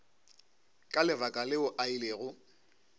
ka lebaka leo a ilego